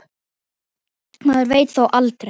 Maður veit þó aldrei.